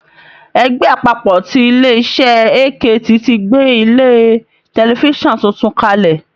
Ẹgbẹ́ àpapọ̀ ti ilé iṣẹ́ AKT ti gbé ilé tẹlifísàn tuntun kalẹ̀